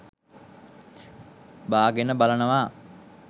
බාගෙන බලනවා.